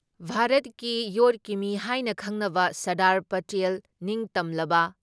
ꯚꯥꯔꯠꯀꯤ ꯌꯣꯠꯀꯤ ꯃꯤ ꯍꯥꯏꯅ ꯈꯪꯅꯕ ꯁꯔꯗꯥꯔ ꯄꯇꯦꯜ ꯅꯤꯡꯇꯝꯂꯕ